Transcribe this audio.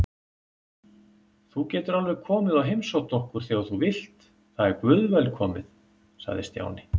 Þú getur alveg komið og heimsótt okkur þegar þú vilt, það er guðvelkomið sagði Stjáni.